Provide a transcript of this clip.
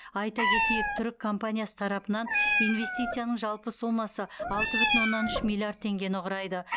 айта кетейік түрік компаниясы тарапынан инвестицияның жалпы сомасы алты бүтін оннан үш миллиард теңгені құрайды